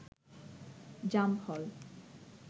জাম ফল